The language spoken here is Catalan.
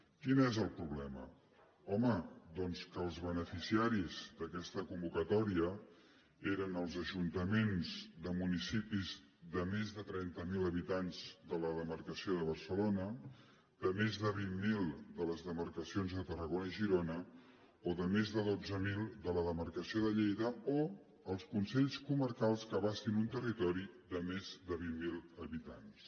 quin és el problema home doncs que els beneficiaris d’aquesta convocatòria eren els ajuntaments de municipis de més de trenta miler habitants de la demarcació de barcelona de més de vint miler de les demarcacions de tarragona i girona o de més de dotze mil de la demarcació de lleida o els consells comarcals que abastin un territori de més de vint miler habitants